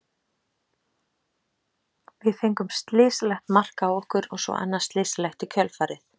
Við fengum slysalegt mark á okkur og svo annað slysalegt í kjölfarið.